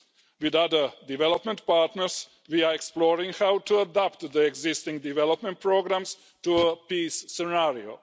With other development partners, we are exploring how to adapt the existing development programmes to a peace scenario.